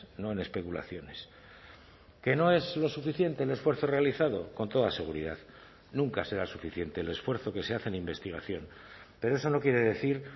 no en especulaciones que no es lo suficiente el esfuerzo realizado con toda seguridad nunca será suficiente el esfuerzo que se hace en investigación pero eso no quiere decir